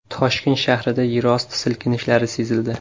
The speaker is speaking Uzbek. Toshkent shahrida yerosti silkinishlari sezildi .